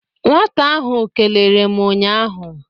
Nwata ahụ kelere m ụnyaahụ.